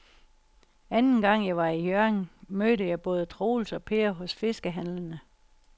Anden gang jeg var i Hjørring, mødte jeg både Troels og Per hos fiskehandlerne.